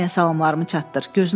Hamıya salamlarımı çatdır.